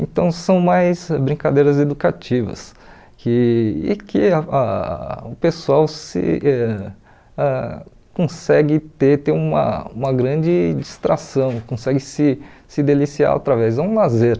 Então são mais brincadeiras educativas que e que ah ah o pessoal se ãh consegue ter ter uma uma grande distração, consegue se se deliciar através, é um lazer.